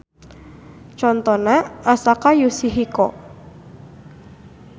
Contona Asaka Yasuhiko.